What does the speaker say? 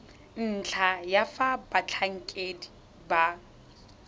ntlha ya fa batlhankedi ba